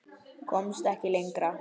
Komst ekki lengra.